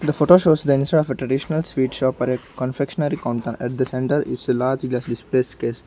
the photo shows the inside of a traditional sweet shop or a confectionery counter at the centre it's a large case.